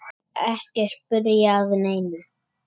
Ekki spyrja að neinu!